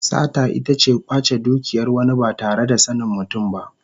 Sata ita ce kwace dukiyar wani ba tare da sanin mutum ba.